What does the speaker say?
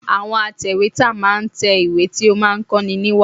Àwọn atèwétà máa ń tẹ ìwé tí ó máa ń kó ni ìwà.